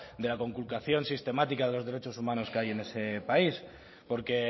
de la conculcación sistemática de los derechos humanos que hay en ese país porque